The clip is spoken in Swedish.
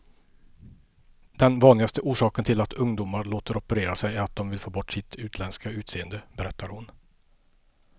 Den vanligaste orsaken till att ungdomar låter operera sig är att de vill få bort sitt utländska utseende, berättar hon.